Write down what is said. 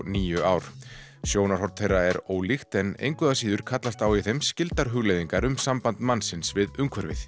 níu ár sjónarhorn þeirra er ólíkt en engu að síður kallast á í þeim hugleiðingar um samband mannsins við umhverfið